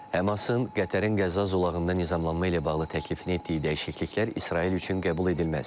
Həmasın Qətərin Qəzza zolağında nizamlanma ilə bağlı təklifini etdiyi dəyişikliklər İsrail üçün qəbul edilməzdir.